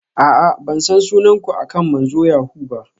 A'a, ban san sunan ku akan manzon yahoo ba.